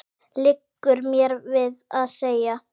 liggur mér við að segja.